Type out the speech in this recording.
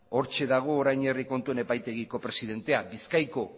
hortxe dago orain herri kontuen epaitegiko presidentea bizkaiko